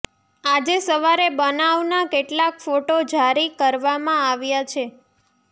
આજે સવારે બનાવના કેટલાક ફોટો જારી કરવામાં આવ્યા છે